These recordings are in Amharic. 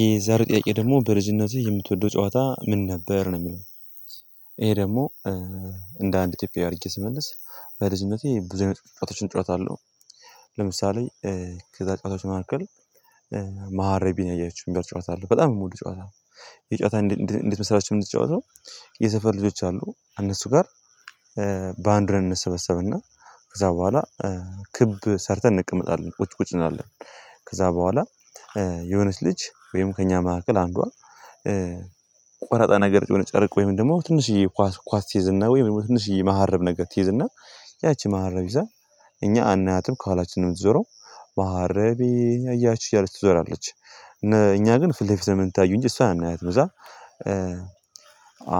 የዛሬ ጥያቄ ደግሞ በልጅነትህ የምትወደው ጨዋታ ምን ነበር ነው የሚለው? ይሄ ደግሞ እንደ አንድ ኢትዮጵያ አድርጌ ስመልስ በልጅነቴ ብዙ ጨዋታዎችን ጨዋታ አለው። ለምሳሌ ከዛ ጨዋታዎች መንከል መሃረቢን ያየችው የሚባል ጨዋታ አለው በጣም የሚሞሉ ጨዋታ ነው። የጨዋታ እንድትመሰላቸው እንድትጫወተው። የሰፈር ልጆች አሉ እነሱ ጋር። ባንድረን እንሰበሰብና ከዛ በኋላ ክብ ሰርተን እንቀመጣለን ቁጭ ቁጭ እናለን። ከዛ በኋላ የሆነች ልጅ ወይም ከእኛ መካከል አንዷ። ቆራጣ ነገር የሆነ ጨርቅ ወይም ደግሞ ትንሽዬ ኳስ ኳስ ትይዝና ወይም ትንሽዬ መሀረብ ነገር ትይዝና ያቺ መሀረብ ይዛ እኛ አናያትም ከኋላችንም ነው ምትዞረው። መሃረቤን ያያችሁ እያለች ትዞራለች። እና እኛ ግን ፊልፊል የምንታዩኝ እሷ አይነት መዛ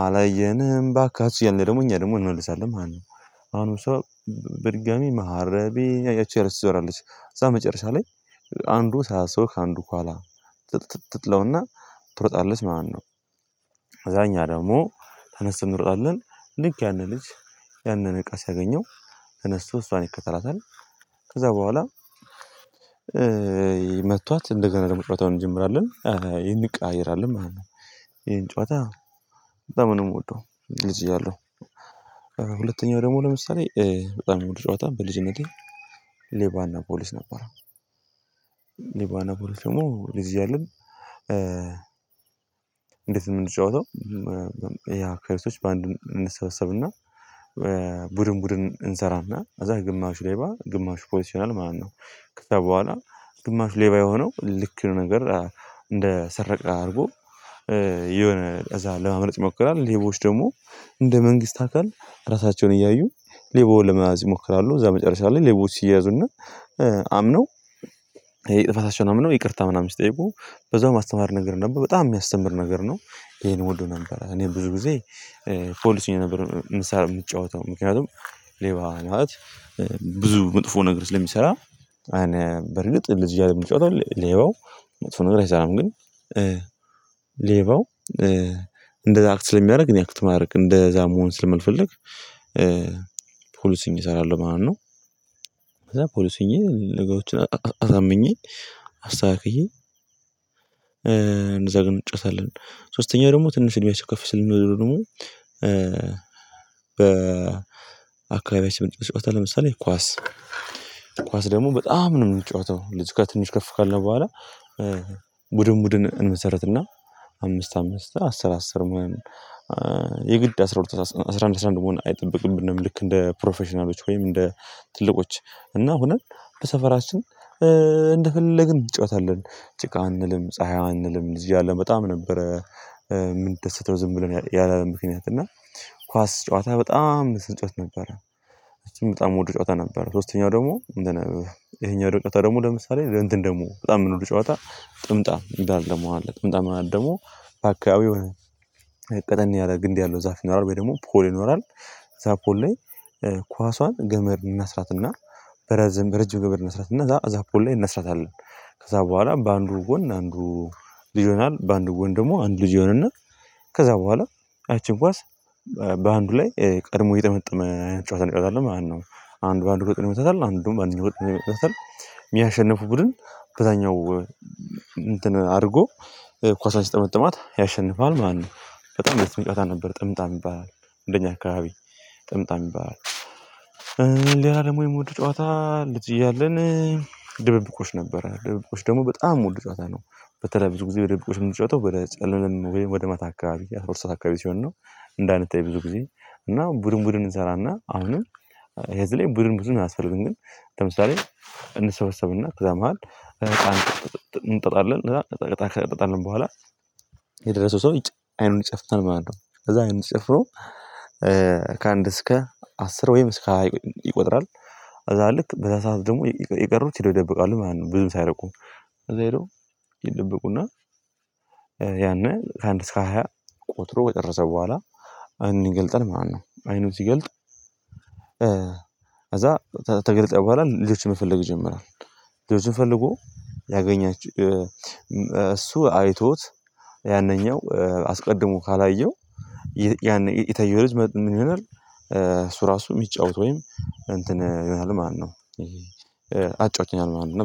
አላየንም ባካችሁ ያለ ደግሞ እኛ ደግሞ እንመልሳለን ማለት ነው። አሁን እሷ በድጋሚ መሀረቤን ያያችሁ እያለች ትዘራለች እዛ መጨረሻ ላይ አንዱ ሰዓት ሰው ከአንዱ ኋላ ትጥጥጥጥጥ ትጥለውና ትሮጣለች ማለት ነው። እዛኛ ደግሞ ተነስቶ እንሮጣለን ልክ ያንን ልጅ ያንን እቃ ሲያገኘው እነሱ እሷን ይከተላታል ከዛ በኋላ መጥቷት እንደገና ለመጫወት እንጀምራለን። ይሄን እንቃየራለን ማለት ነው ይሄን ጨዋታ በጣም ነው የምወደው እዚህ እያለሁ። ሁለተኛው ደግሞ ለምሳሌ በጣም ውድ ጨዋታ በልጅነቴ ሌባና ፖሊስ ነበር። ሌባና ፖሊስ ደግሞ ለዚያ ያለው እንዴት ነው የምንጫወተው? ፖሊሶች በአንዱ እንሰበሰብና ቡድን ቡድን እንሰራና እዛ ግማሹ ሌባ ግማሹ ፖሊስ ይሆናል ማለት ነው። ከዛ በኋላ ግማሽ ሌባ የሆነው ልክ ነገር እንደ ሰረቀ አድርጎ የሆነ እዛ ለማምረጥ ይሞክራል ሌቦች ደግሞ እንደ መንግስት አካል ራሳቸውን እያዩ ሌቦ ለመናዝ ይሞክራሉ። እዛ መጨረሻ ላይ ሌቦች ሲያያዙና አምነው ነው ይቅርታ ምናምን ሲጠይቁ በዛው ማስተማር ነገር ነበር በጣም የሚያስተምር ነገር ነው። ይሄን ወዶ ነበር እኔ ብዙ ጊዜ ፖሊስ ነበር ምሳ የምትጫወተው ምክንያቱም ሌባ ማለት ብዙ መጥፎ ነገር ስለሚሰራ። አንያ በርግጥ ለዚህ አለም የምጫወተው ሌባው መጥፎ ነገር አይሰራም ግን። ሌባው እንደዛ አክት ስለሚያደርግ እኔ አክት ማድረግ እንደዛ መሆን ስለማልፈልግ ፖሊስ እሰራለሁ ማለት ነው። ከዛ ፖሊስ ሆኜ ንገሩን አዛምኜ አስተካክዬ እንዘግን እንጨታለን። ሶስተኛው ደግሞ ትንሽ የሚያስከፍል ስል ደግሞ በ አካባቢ ስምንት ጨዋታ ለምሳሌ ኳስ ኳስ ደግሞ በጣም ነው የምንጫወተው ለዚህ ጋር ትንሽ ከፍ ካለ በኋላ። ቡድን ቡድን እንመሰረትና አምስት አምስት አስር አስር ምናምን የግድ አስራ ሁለት እና አስራ አንድ አስራ አንድ አስራ አንድ መሆን አይጠብቅብንም። ልክ እንደ ፕሮፌሽናሎች ወይም እንደ ትልቆች እና ሆነን በሰፈራችን እንደፈለግን እንጫወታለህ። ጭቃ አንልም ፀሀይ አንልም እዚህ አለ በጣም ነበረ የምንደሰተው ዝም ብለን ያለ ምክንያት እና ኳስ ጨዋታ በጣም ስንጨዋት ነበረ። እቺም በጣም ወደ ጨዋታ ነበረ ሶስተኛው ደግሞ ይሄኛው ድንቅ ደግሞ ለምሳሌ እንትን ደግሞ በጣም የምንለው ጨዋታ ጥምጣም የሚባል ደግሞ አለ ጥምጣም ማለት ደግሞ በአካባቢው እቅድ ያለ ግንድ ያለው ዛፍ ይኖራል ወይ ደግሞ ፖል ይኖራል። እዛ ፖል ላይ ኳሷን ገመድ እናስራትና በረዘም በረጅም ነገር ይነስራት እና እዛ አዛፖል ላይ እነስራታለን። ከዛ በኋላ በአንዱ ጎን አንዱ ልጅ ይሆናል በአንዱ ጎን ደግሞ አንዱ ልጅ ይሆናል እና ከዛ በኋላ አይቼን ኳስ በአንዱ ላይ ቀድሞ የጠመጠመ ጨዋታ እንጫወታለን አይደለም ማለት ነው። አንዱ አንዱ ጨዋታ ይመተታል አንዱም አንዱ ጨዋታ ይመተታል ቡድን በዛኛው አድርጎ ኳሳችን ሲጠመጥማት ያሸንፋል። ማነው በጣም ደስ የሚጫወታ ነበር ጥምጣም ይባላል። አንደኛ አካባቢ ጥምጣም ይባላል። ሌላ ደግሞ የምወደው ጨዋታ ልጅ እያለን ድብብቆሽ ነበረ ደብብኮች ደግሞ በጣም ወደ ጨዋታ ነው። በተለይ በዚህ ጊዜ ወደ ደብብቆች የምንጫወተው ወደ ጸለልም ወደ መታከብ አስወርሰህ አካባቢ ሲሆን ነው። እንዳንተ የብዙ ጊዜ እና ቡድን ቡድን እንሰራና አሁንም የዚህ ላይ ቡድን ብዙን አስፈልግም ግን። ለምሳሌ እንሰበሰብና እዛ መሃል እንጠጣለን እንጠጣለን በኋላ የደረሰው ሰው አይኑን ይጨፍተን ማለት ነው ከዛ አይኑን ጭፍሮ። ከአንድ እስከ አስር ወይም እስከ ይቆጥራል። አዛ ልክ በዛ ሰዓት ደግሞ የቀረው ይደው ይደብቃሉ ማለት ነው። ብዙም ሳይርቁ እዛ ሄደው ይደብቁና። ያንን ከአንድ እስከ ሃያ ቆጥሮ ከጨረሰ በኋላ አይኒን ይገልጣል ማለት ነው። አይኑን ሲገልጥ ከዛ ተገልጠው በኋላ ልጅ መፈልግ ይጀምራል። ልጁን ፈልጎ ያገኛች እሱ አይቶት ያነኛው አስቀድሞ ካላየው ያን የታየው ልጅ ምን ይሆናል? እሱ ራሱ የሚጫወት ወይም እንትን ይላል ማነው? አጫዋች ይሆናል ማለት ነው